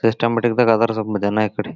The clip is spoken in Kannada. ಸಿಸ್ಟಮ್ಯಾಟಿಕದಾಗ್ ಅದರ್ ಸ್ವಪ ಜನ ಇಕಡಿ.